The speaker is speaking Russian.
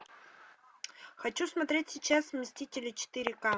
хочу смотреть сейчас мстители четыре к